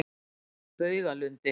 Baugalundi